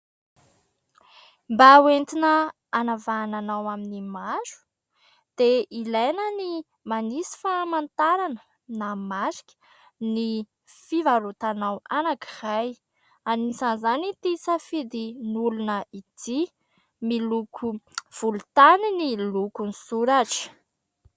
Mba hoentina hanavahana anao amin'ny maro, dia ilaina ny manisy famantarana na marika ny fivarotanao anankiray. Anisan'izany ity safidin'olona ity, miloko volontany ny lokon'ny soratra.